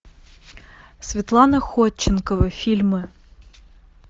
светлана ходченкова фильмы